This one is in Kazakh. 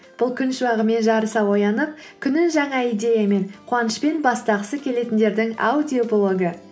бұл күн шуағымен жарыса оянып күнін жаңа идеямен қуанышпен бастағысы келетіндердің аудиоблогы